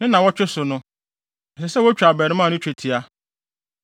Ne nnaawɔtwe so no, ɛsɛ sɛ wotwa abarimaa no twetia.